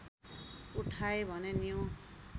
उठाए भने न्यू